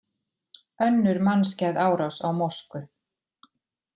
Önnur mannskæð árás á mosku